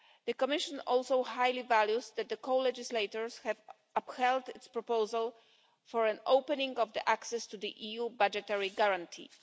The Commission also highly values the fact that the co legislators have upheld its proposal for an opening of access to the EU budgetary guarantee.